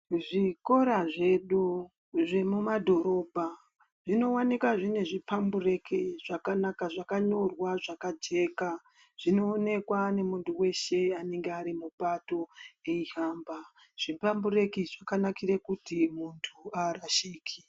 Zvikora zvedu zvemumadhorobha zvinowanika zvine zvipambureki zvakanaka zvakanyorwa zvakajeka zvinoonekwa nemuntu weshe anenge ari mupato eihamba. Zvipambureki zvakanakire kuti muntu haarashiki.